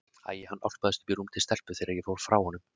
Æ, hann álpaðist upp í rúm til stelpu þegar ég fór frá honum.